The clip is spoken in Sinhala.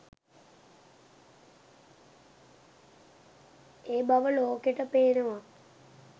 ඒ බව ලෝකෙට පේනවා.